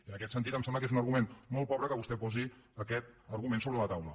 i en aquest sentit em sembla que és un argument molt pobre que vostè posi aquest argument sobre la taula